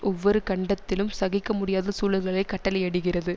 ஒவ்வொரு கண்டத்திலும் சகிக்க முடியாத சூழல்களை கட்டளையிடுகிறது